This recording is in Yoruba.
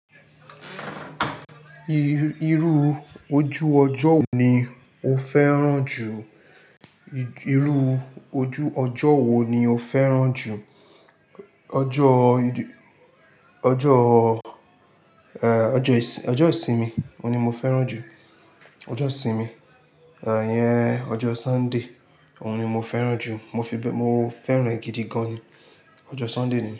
Irú ojú ọjọ́ wo ni o fẹ́ràn jù? Irú ojú ọjọ́ wo ni o fẹ́ràn jù? Ọjọ́, ọjọ́, eh, ọjọ́ ìsinmi ohun ni mo fẹ́ràn jù. Ọjọ́ ìsinmi, eh, yẹn ọjọ́ Sunday òun ni mo fẹ́ràn jù. Mo fi bẹ, mo fẹ́ràn e gidi gan ni. Ọjọ́ Sunday ni.